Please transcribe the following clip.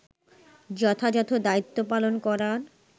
যথাযথ দায়িত্ব পালন করার